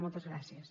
moltes gràcies